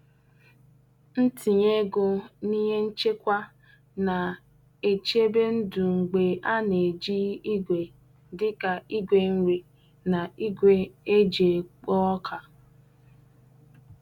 Ntinye ego n'ihe nchekwa na-echebe ndụ mgbe a na-eji igwe dị ka igwe nri na igwe e ji ekpo ọka.